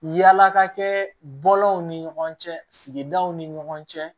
Yala ka kɛ bɔlɔn ni ɲɔgɔn cɛ sigidaw ni ɲɔgɔn cɛ